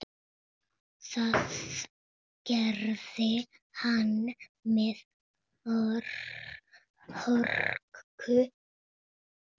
Það gerði hann með hörku.